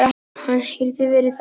Ef hann hefði verið þannig.